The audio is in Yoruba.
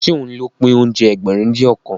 Ṣé òun ló pín oúnjẹ Ẹgbẹ̀rin-dín-ọ̀kan?